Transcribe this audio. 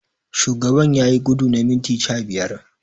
Shugaban wanni yayi gudu na minti sha biyar.